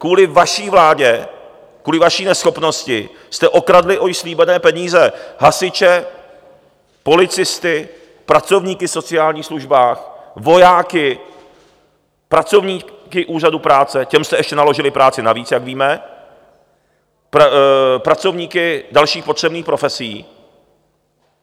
Kvůli vaší vládě, kvůli vaší neschopnosti jste okradli o již slíbené peníze hasiče, policisty, pracovníky v sociálních službách, vojáky, pracovníky úřadů práce, těm jste ještě naložili práci navíc, jak víme, pracovníky dalších potřebných profesí.